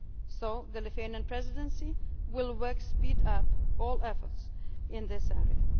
energy agenda. So the Lithuanian Presidency will work to speed up all efforts